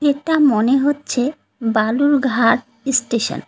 একটা মনে হচ্ছে বালুরঘাট ইস্টেশন ।